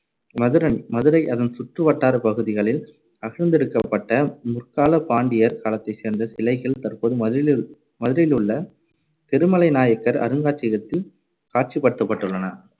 மதுரன்~ மதுரை அதன் சுற்றுவட்டாரப் பகுதிகளில் அகழ்ந்தெடுக்கப்பட்ட, முற்காலப் பாண்டியர் காலத்தைச் சேர்ந்த சிலைகள் தற்போது மதுரையிலிரு~ மதுரையிலுள்ள திருமலை நாயக்கர் அருங்காட்சியகத்தில் காட்சிப்படுத்தப்பட்டுள்ளன.